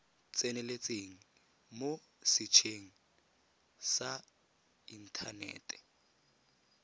tseneletseng mo setsheng sa inthanete